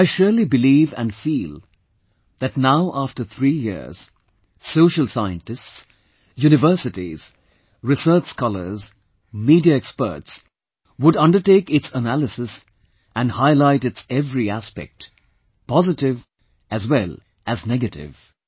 I surely believe and feel that now after three years, social scientists, universities, research scholars, media experts would undertake its analysis and highlight its every aspect, positive as well as negative